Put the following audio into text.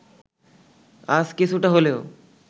আজ কিছুটা হলেও